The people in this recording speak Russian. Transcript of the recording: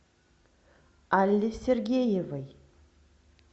алле сергеевой